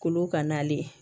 Kolo ka na ale